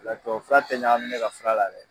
tubabu fura tɛ ɲagami ne ka fura la dɛ.